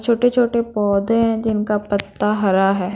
छोटे-छोटे पौधे हैं जिनका पत्ता हरा हैं।